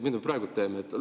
Mida me praegu teeme?